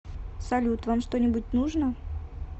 салют вам что нибудь нужно